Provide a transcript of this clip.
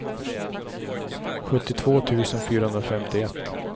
sjuttiotvå tusen fyrahundrafemtioett